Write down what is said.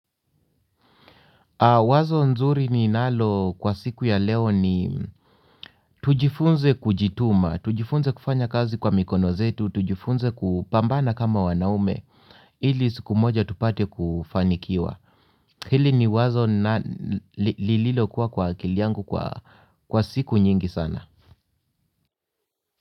Wazo nzuri ni nalo kwa siku ya leo ni tujifunze kujituma, tujifunze kufanya kazi kwa mikono zetu, tujifunze kupambana kama wanaume, ili siku moja tupate kufanikiwa. Hili ni wazo lililo kuwa kwa akili yangu kwa siku nyingi sana.